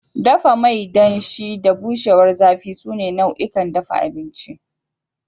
Dafa mai danshi da bushewar zafi sune nau'ikan dafa abinci.